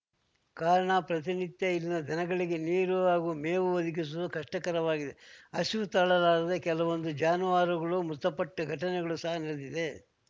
ಕಾರಣ ಪ್ರತಿನಿತ್ಯ ಇಲ್ಲಿನ ದನಗಳಿಗೆ ನೀರು ಹಾಗೂ ಮೇವು ಒದಗಿಸುವುದು ಕಷ್ಟಕರವಾಗಿದೆ ಹಸಿವು ತಾಳಲಾರದೆ ಕೆಲವೊಂದು ಜಾನುವಾರುಗಳು ಮೃತಪಟ್ಟ ಘಟನೆಗಳು ಸಹ ನಡೆದಿದೆ